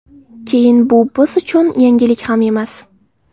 Keyin bu biz uchun yangilik ham emas”.